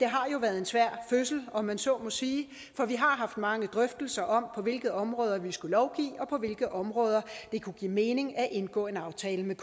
har været en svær fødsel om man så må sige for vi har haft mange drøftelser om på hvilke områder vi skulle lovgive og på hvilke områder det kunne give mening at indgå en aftale med